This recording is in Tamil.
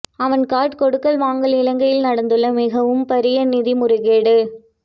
அவன்கார்ட் கொடுக்கல் வாங்கல் இலங்கையில் நடந்துள்ள மிகவும் பாரிய நிதி முறைகேடு